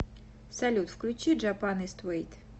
салют включи джапан ист вейт